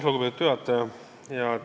Lugupeetud juhataja!